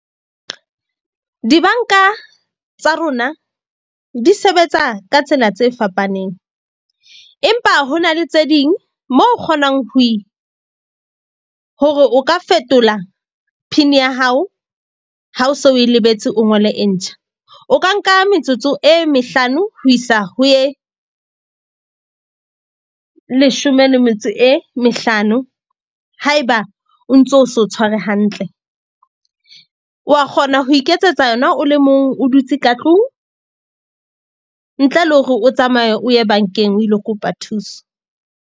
Dibanka tsa rona di sebetsa ka tsela tse fapaneng, empa ho na le tse ding, mo kgonang ho hore o ka fetola PIN-i ya hao ha o so o e lebetse, o ngole e ntjha. O ka nka metsotso e mehlano ho isa ho ye leshome le metso e mehlano. Haeba o ntso o se o tshware hantle, wa kgona ho iketsetsa yona o le mong, o dutse ka tlung ntle le hore o tsamaye o ye bank-eng o ilo kopa thuso.